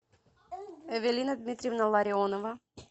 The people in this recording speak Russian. эвелина дмитриевна ларионова